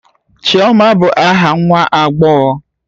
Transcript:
Chioma bụ aha nwa agbọghọ